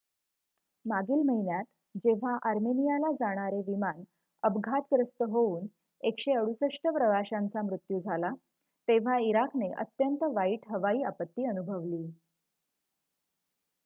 मागील महिन्यात जेव्हा आर्मेनियाला जाणारे विमान अपघातग्रस्त होऊन १६८ प्रवाशांचा मृत्यू झाला तेव्हा इराकने अत्यंत वाईट हवाई आपत्ती अनुभवली